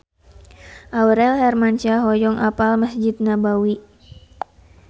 Aurel Hermansyah hoyong apal Mesjid Nabawi